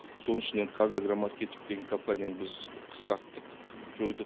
соның ішінен қазагромаркетинг деген компанияны біз қысқарттық жойдық